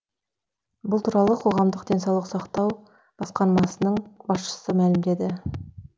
бұл туралы қоғамдық денсаулық сақтау басқармасының басшысы мәлімдеді